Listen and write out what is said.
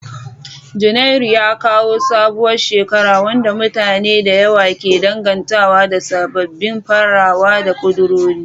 Janairu ya kawo sabuwar shekara, wadda mutane da yawa ke dangantawa da sabbin farawa da kudurori.